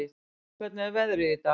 Alfons, hvernig er veðrið í dag?